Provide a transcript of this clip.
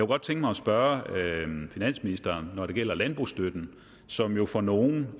godt tænke mig at spørge finansministeren når det gælder af landbrugsstøtten som jo for nogles